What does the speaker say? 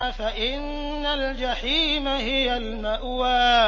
فَإِنَّ الْجَحِيمَ هِيَ الْمَأْوَىٰ